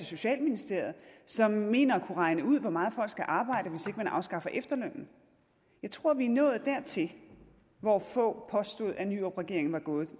socialministeriet som mener at kunne regne ud hvor meget folk skal arbejde hvis ikke man afskaffer efterlønnen jeg tror vi er nået dertil hvor fogh påstod at nyrup regeringen var nået